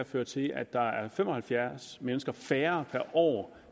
føre til at der er fem og halvfjerds mennesker færre per år